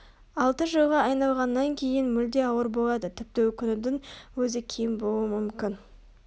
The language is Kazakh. алты жылға айналғаннан кейін мүлде ауыр болады тіпті өкінудің өзі кем болуы мүмкін